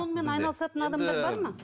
сонымен айналысатын адамдар бар ма